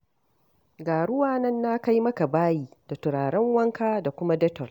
Ga ruwa nan na kai maka bayi da turaren wanka da kuma detol.